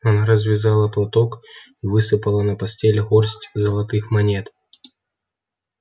она развязала платок и высыпала на постель горсть золотых монет